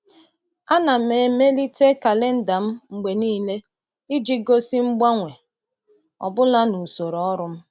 Ana m emelite kalenda m mgbe niile iji gosi mgbanwe ọ bụla n’usoro ọrụ m.